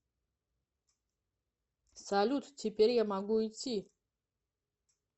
салют теперь я могу идти